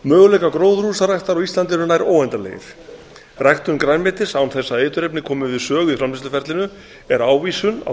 möguleikar gróðurhúsaræktar á íslandi eru nær óendanlegir ræktun grænmetis án þess að eiturefni komi við sögu í framleiðsluferlinu er ávísun á